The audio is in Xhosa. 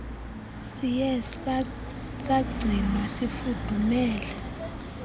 siye sagcinwa sifudumele